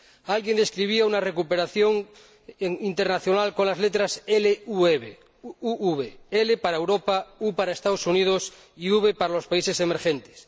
Alguien describía una recuperación internacional con las letras LUV L para Europa, U para Estados Unidos y V para los países emergentes.